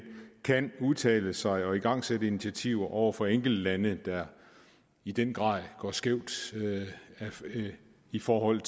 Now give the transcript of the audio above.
kan udtale sig om og igangsætte initiativer over for enkeltlande der i den grad går skævt i forhold